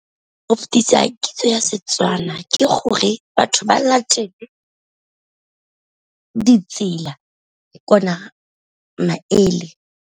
Go fitisa kitso ya Setswana ke gore batho ba latele ditsela maele.